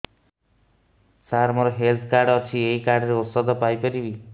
ସାର ମୋର health card ଅଛି ଏହି କାର୍ଡ ରେ ଔଷଧ ପାଇପାରିବି